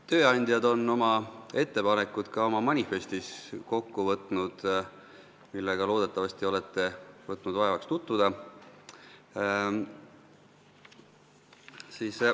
Tööandjad on oma ettepanekud kokku võtnud oma manifestis, millega te loodetavasti olete võtnud vaevaks tutvuda.